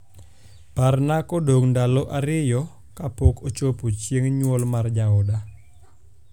parna kodong ndalo ariyo kapok ochopo chieng nyuol mar jaoda